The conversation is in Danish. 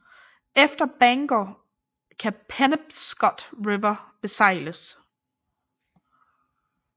Efter Bangor kan Penobscot River besejles